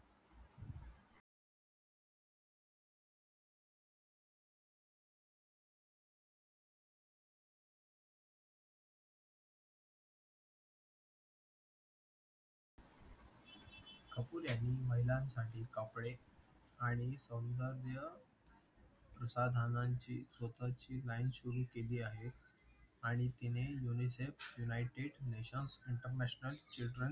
Cooper यांनी महिलांसाठी कपडे आणि सौंदव्य सदणाची स्वताची लाइन सुरू केली आहे आणि तिने unicef nighted nation internation children